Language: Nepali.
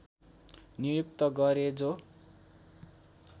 नियुक्त गरे जो